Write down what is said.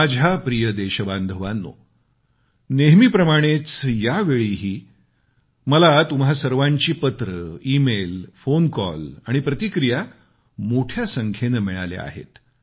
माझ्या प्रिय देशबांधवानो नेहमीप्रमाणेच यावेळीही मला तुम्हा सर्वांची पत्रे ईमेल फोन कॉल आणि प्रतिक्रिया मोठ्या संख्येने मिळाल्या आहेत